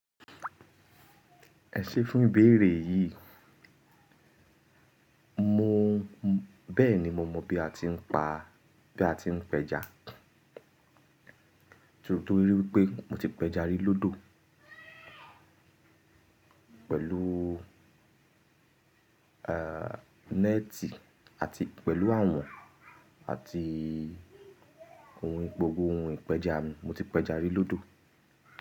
Ẹ ṣe fún ìbéèrè yìí. Mo bẹ́ẹ̀ni mo mọ bí a ti ń pa, bí a ti ń pẹja. Torí wípé mo ti pẹja rí lódò. Pẹ̀lú, à, néètì àti pẹ̀lú àwọ̀n àti ohun, gbogbo ohun ìpẹja mi. Mo ti pẹja rí lódò.